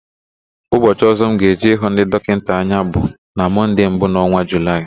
Ụbọchị ọ̀zọ́ m ga-eje ịhụ ndị dọkịta anya bụ na Mọnde mbụ n'ọnwa Julaị.